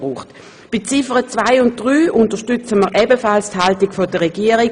Bei Ziffer 2 und 3 unterstützen wir ebenfalls die Haltung der Regierung: